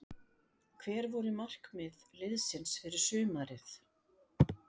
Hver voru markmið liðsins fyrir sumarið?